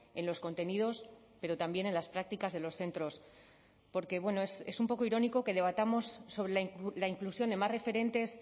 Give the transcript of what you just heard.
en los contenidos pero también en las prácticas de los centros porque es un poco irónico que debatamos sobre la inclusión de más referentes